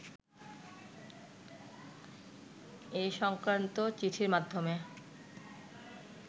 এ-সংক্রান্ত চিঠির মাধ্যমে